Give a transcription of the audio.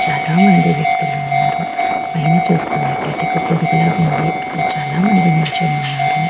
చాలా మంది వ్యక్తులు ఉన్నారు పైన చుసుకున్నట్టు అయితే ఒక గొడుగులా ఉంది అక్కడ చాలా మంది నిల్చొని ఉన్నారు.